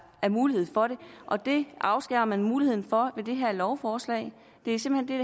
er mulighed for det og det afskærer man dem muligheden for med det her lovforslag det er simpelt hen